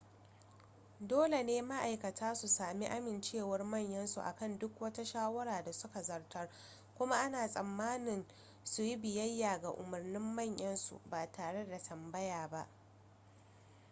dole ne ma'aikata su sami amincewar manyan su akan duk wata shawara da suka zartas kuma ana tsammanin su yi biyayya ga umarnin manyan su ba tare da tambaya ba